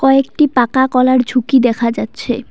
কয়েকটি পাকা কলার ঝুঁকি দেখা যাচ্ছে।